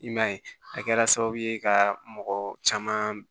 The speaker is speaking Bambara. I m'a ye a kɛra sababu ye ka mɔgɔ caman